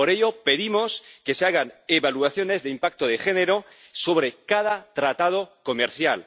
Por ello, pedimos que se hagan evaluaciones de impacto de género sobre cada tratado comercial.